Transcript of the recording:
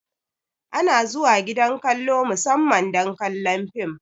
Ana zuwa gidan kallo musamman don kallon film